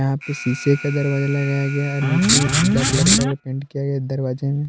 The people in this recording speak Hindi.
यहां पे शीशे का दरवाजा लगाया गया है नीचे पिला कलर का पेंट किया गया दरवाजा में --